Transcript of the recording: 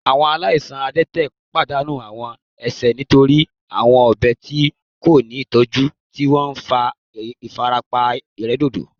Awọn alaisan adẹtẹ padanu awọn ẹsẹ nitori awọn ọgbẹ ti ko ni itọju ti o nfa ifarapa iredodo